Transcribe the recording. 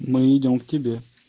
мы идём к тебе